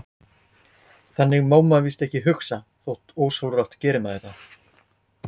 Þannig má maður víst ekki hugsa, þótt ósjálfrátt geri maður það.